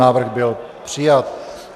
Návrh byl přijat.